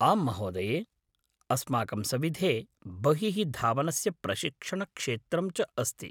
आम्महोदये! अस्माकं सविधे बहिः धावनस्य प्रशिक्षणक्षेत्रं च अस्ति।